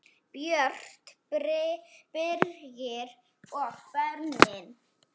Björt, Birgir og börnin.